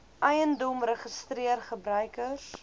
eiendom registreer gebruikers